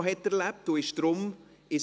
Ich unterbreche die Sitzung.